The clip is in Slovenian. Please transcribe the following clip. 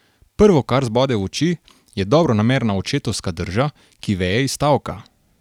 Prvo, kar zbode v oči, je dobronamerna očetovska drža, ki veje iz stavka.